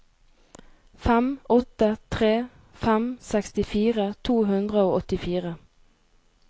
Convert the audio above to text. fem åtte tre fem sekstifire to hundre og åttifire